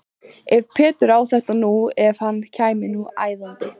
Ef Pétur á þetta nú. ef hann kæmi nú æðandi!